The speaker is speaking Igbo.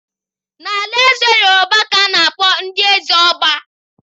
N'alaeze Yorùbá ka a na-akpọ ndị eze ỌBÁ.